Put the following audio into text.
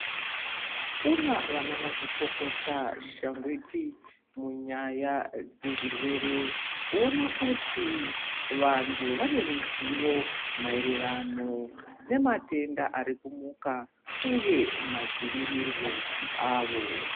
Kuna vana mazvikokota shangwiti munyaya dze zvirwere kuona kuti vantu vane ruzivo maererano ne matenda ari ku muka uye madzivirirwo awo.